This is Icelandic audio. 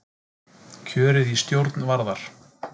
Kjörið í stjórn Varðar